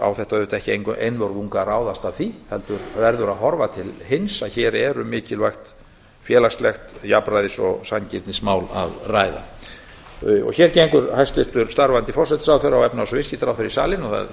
á þetta ekki einvörðungu að ráðast af því heldur verður að horfa til hins að hér er um mikilvægt félagslegt jafnræðis og sanngirnismál að ræða hér gengur hæstvirtir starfandi forsætisráðherra og fjármála og efnahagsráðherra í salinn og er